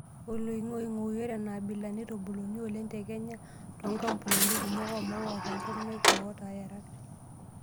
Oloing'oing'oi; Ore enaabila neitubuluni oleng te Kenya too nkampunini kumok oo maua tenkop naika otoo yerat.